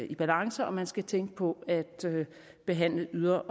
i balance og at man skal tænke på at behandle